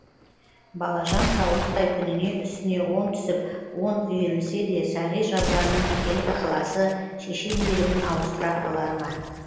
балажан саулықтай күніне үстіне он түсіп он үйірілсе де сағи жазғанның әкелік ықыласы шеше мейірімін ауыстыра алар ма